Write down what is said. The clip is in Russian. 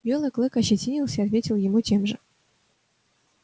белый клык ощетинился и ответил ему тем же